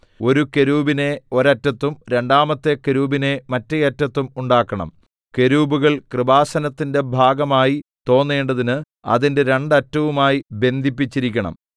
ഒരു കെരൂബിനെ ഒരറ്റത്തും രണ്ടാമത്തെ കെരൂബിനെ മറ്റെ അറ്റത്തും ഉണ്ടാക്കണം കെരൂബുകൾ കൃപാസനത്തിന്റെ ഭാഗമായി തോന്നേണ്ടതിന് അതിന്റെ രണ്ട് അറ്റവുമായി ബന്ധിപ്പിച്ചിരിക്കണം